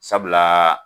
Sabula